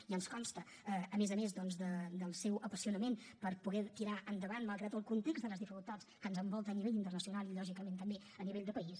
i ens consta a més a més doncs el seu apassionament per poder tirar endavant malgrat el context de les dificultats que ens envolten a nivell internacional i lògicament també a nivell de país